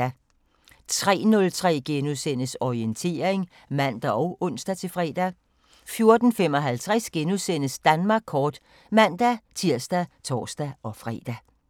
03:03: Orientering *(man og ons-fre) 04:55: Danmark kort *(man-tir og tor-fre)